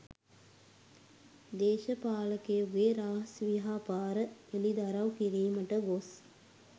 දේශපාලකයකුගේ රහස් ව්‍යාපාර හෙළි දරව් කිරීමට ගොස්